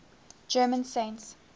german saints